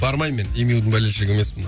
бармаймын мен демюдің болельшигі емеспін